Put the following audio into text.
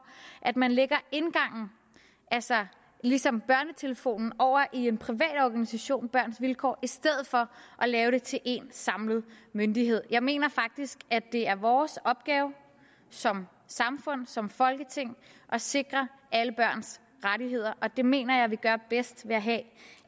at man lægger indgangen altså ligesom børnetelefonen over i en privat organisation børns vilkår i stedet for at lave det til en samlet myndighed jeg mener faktisk at det er vores opgave som samfund som folketing at sikre alle børns rettigheder det mener jeg vi gør bedst ved at have